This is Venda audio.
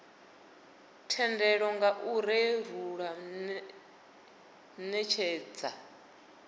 thendelo nga ner u netshedza